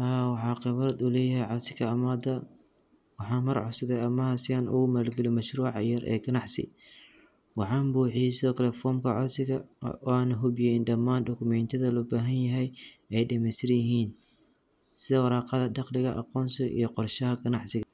Haa, waxaa qabatulaya casiga ammaada. Waxaan mar cusub ah ama aheysan ugu maalgeli mashruuca ciyaar ee ganacsi. Waxaan buuxiiso kala foomka casiga oo aan hubiyay dhammaan dokumeyntada loo baahan yahay ee dhimaas rihiin sida waraaqada, dakhliga, aqoonsi iyo qorsaha ganacsiga.